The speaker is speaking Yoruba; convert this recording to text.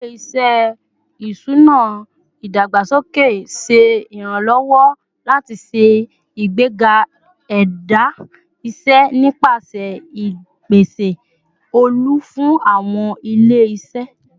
Ile-iṣẹ iṣuna idagbasoke ṣe iranlọwọ lati ṣe igbega ẹda iṣẹ nipasẹ ipese olu fun awọn ile-iṣẹ